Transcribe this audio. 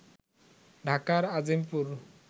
ঢাকার আজিমপুর